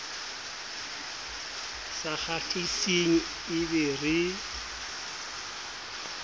sa kgahliseng e be re